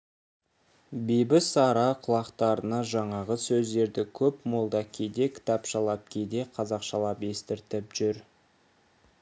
бибісара құлақтарына жаңағы сөздерді көп молда кейде кітапшалап кейде қазақшалап естіртіп жүр